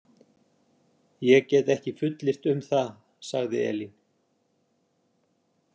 Ég get ekki fullyrt um það, sagði Elín.